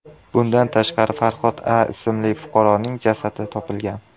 Bundan tashqari, Farhod A. ismli fuqaroning jasadi topilgan.